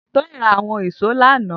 Toyin rà awọn ìṣó làná